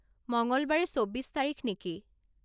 মঙলবাৰে চৌব্বিশ তাৰিখ নেকি